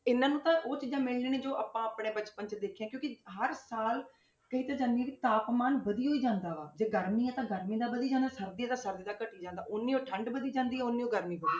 ਇਹਨਾਂ ਨੂੰ ਤਾਂ ਉਹ ਚੀਜ਼ਾਂ ਮਿਲਣੀਆਂ ਨੀ ਜੋ ਆਪਾਂ ਆਪਣੇ ਬਚਪਨ 'ਚ ਦੇਖੀਆਂ ਕਿਉਂਕਿ ਹਰ ਸਾਲ ਕਹੀ ਤਾਂ ਜਾਂਦੀ ਹਾਂ ਕਿ ਤਾਪਮਾਨ ਵਧੀ ਹੋਈ ਜਾਂਦਾ ਵਾ, ਜੇ ਗਰਮੀ ਆਂ ਤਾਂ ਗਰਮੀ ਦਾ ਵਧੀ ਜਾਣਾ, ਸਰਦੀ ਆ ਤਾਂ ਸਰਦੀ ਦਾ ਘਟੀ ਜਾਂਦਾ, ਉੱਨੀ ਹੋਈ ਠੰਢ ਵਧੀ ਜਾਂਦੀ ਆ ਉੱਨੀ ਹੋਈ ਗਰਮੀ ਵਧੀ,